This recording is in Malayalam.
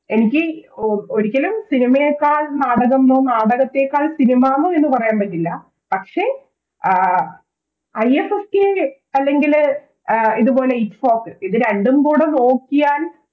എനിക്ക് ഓ ഒരിക്കലും സിനിമയേക്കാൾ നാടകം ന്നോ നാടകത്തെക്കാൾ സിനിമന്നോ പറയാൻ പറ്റില്ല പക്ഷെ ആഹ് IFSK അല്ലെങ്കില് ഇതുപോലെ ITFOK ഇത് രണ്ടും കൂടെ നോക്കിയാൽ